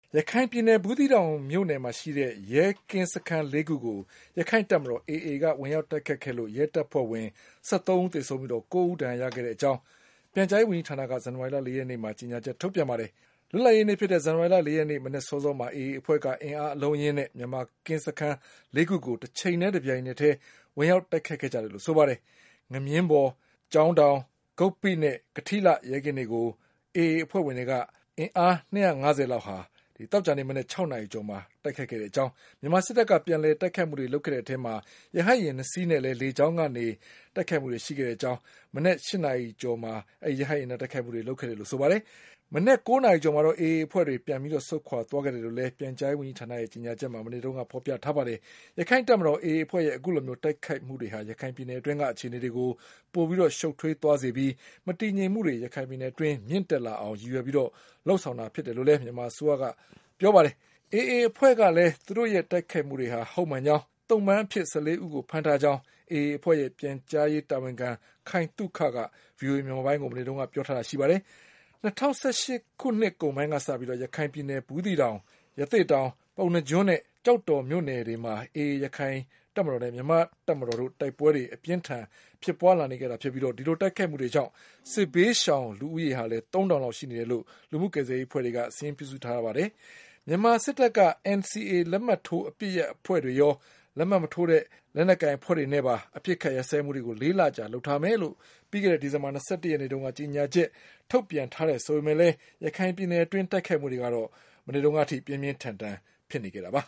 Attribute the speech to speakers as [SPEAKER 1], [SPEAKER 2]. [SPEAKER 1] ရခိုင်ပြည်နယ် ဘူးသီးတောင်မြို့နယ်မှာရှိတဲ့ ရဲကင်းစခန်းလေးခုကို ရခိုင့်တပ်မတော် AA က ဝင်ရောက် တိုက်ခိုက်ခဲ့လို့ ရဲတပ်ဖွဲ့ဝင် ၁၃ဦး သေဆုံးပြီး ၉ ဦးဒဏ်ရာရတဲ့အကြောင်း ပြန်ကြားရေးဝန်ကြီးဌာနက ဇန်နဝါရီလ ၄ ရက်နေ့မှာ ကြေညာ ချက်ထုတ်ပြန်ပါတယ်။ လွတ်လပ်ရေးနေ့ဖြစ်တဲ့ဇန်နဝါရီလ ၄ ရက်မနက်စောစောမှာ AA အဖွဲ့က အင်အားအလုံးအရင်းနဲ့ မြန်မာ ကင်း စခန်းလေးခုကို တချိန်တည်း တပြိုင်တည်း ဝင်ရောက်တိုက်ခိုက်ခဲ့ကြတယ်လို့ဆိုပါတယ်။ ငမြင်း ဘော်၊ ကျောင်းတောင်၊ ဂုပ္ပိနဲ့ ကထီးလှ ရဲကင်းတွေကို AA အဖွဲ့ဝင်တွေ ၂၅၀ လောက်က သောကြာနေ့ မနက် ၆ နာရီ ကျော်မှာ တိုက်ခိုက်ခဲ့ကြောင်း၊ မြန်မာစစ်တပ်ကပြန်လည်တိုက်ခိုက်မှုတွေလုပ်ခဲ့တဲ့အထဲမှာ ရဟတ်ယာဉ် ၂ စီး နဲ့ လေကြောင်းကနေ လည်း မနက် ၈နာရီကျော်မှာတိုက်ခိုက်ခဲ့တယ်လို့ဆိုပါတယ်။ မနက် ၉ နာရီကျော်မှာတော့ AA အဖွဲ့တွေဆုတ်ခွါသွားခဲ့တယ်လို့လည်း ပြန်ကြားရေးဝန်ကြီးဌာနရဲ့ ကြေညာချက်မှာ ဖေါ်ပြထားပါတယ်။ ရခိုင့်တပ်မတော် AA အဖွဲ့ရဲ့ အခုလိုတိုက်ခိုက်မှုတွေဟာ ရခိုင်ပြည်နယ်အတွင်းက အခြေအနေတွေကို ပို ရှုပ်ထွေးသွားစေပြီး မတည်ငြိမ်မှုတွေ ရခိုင်ပြည်နယ်အတွင်း မြင့်တက်လာအောင် ရည်ရွယ်ပြီး လုပ်ဆောင်တာ ဖြစ်တယ်လို့လည်း မြန်မာအစိုးရကဆိုပါတယ်။ AA အဖွဲ့ကလည်း သူတို့ရဲ့တိုက်ခိုက်မှုတွေဟာ ဟုတ်မှန်ကြောင်း၊ သုံ့ပန်းအဖြစ် ၁၄ ဦးကို ဖမ်းထားကြောင်း AA အဖွဲ့ရဲ့ပြန်ကြားရေးတာဝန်ခံ ခိုင်သုခက ဗွီအိုအေ မြန်မာပိုင်းကို မနေ့ကပြောထားပါတယ်။ ၂၀၁၈ ခုနှစ် ကုန် ပိုင်းကစပြီး ရခိုင်ပြည်နယ်၊ ဘူးသီးတောင်၊ ရသေ့တောင်၊ ပုဏ္ဏားကျွန်းနဲ့ကျောက်တော်မြို့နယ်တွေမှာ AA ရခိုင့် တပ်မတော်နဲ့ မြန်မာ့တပ်မတော်တို့ တိုက်ပွဲတွေ အပြင်းအထန်ဖြစ်ပွါးနေခဲ့တာဖြစ်ပြီး ဒီလိုတိုက်ခိုက်မှုတွေ ကြောင့် စစ်ဘေးရှောင်လူဦးရေ သုံးထောင်လောက်ရှိနေပြီလို့ လူမှုကယ်ဆယ်ရေးအဖွဲ့တွေက စာရင်းပြုစုထားပါတယ်။ မြန်မာစစ်တပ်က NCA လက်မှတ်ထိုးအပစ်ရပ်အဖွဲ့တွေ ရော လက်မှတ်မထိုးတဲ့ လက်နက်ကိုင်အဖွဲ့တွေနဲ့ပါ အပစ်အခပ်ရပ်စဲမှုတွေ လေးလကြာ လုပ်ထားမယ်လို့ ပြီးခဲ့တဲ့ဒီဇင်ဘာလ ၂၁ ရက်နေ့တုန်းက ကြေညာချက် ထုတ်ထားပေမဲ့လည်း ရခိုင်ပြည်နယ်အတွင်းတိုက်ပွဲတွေကတော့ ပြင်းပြင်းထန်ထန်ဖြစ်နေခဲ့တာပါ